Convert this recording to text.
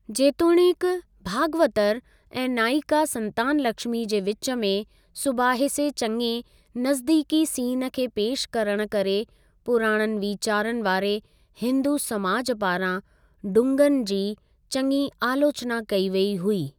जेतोणीकि, भागवतर ऐं नाइका संतानलक्ष्मी जे विच में सुबाहिसे चङे नज़दीकी सीन खे पेशि करण करे पुराणनि वीचारनि वारे हिंदू समाज पारां डुंगन जी चङी आलोचना कई वेई हुई।